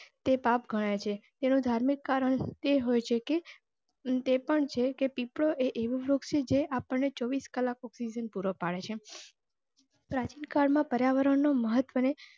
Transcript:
તે પાપ ગણાય છે. તેને ધાર્મિક કારણ એ હોય છે કે પીપળો એવું વૃક્ષ જે આપણે ચોવીસ કલાક oxygen પૂરો પડે છે. પ્રાચિનકાળ માં oxygen ના મહત્વ ને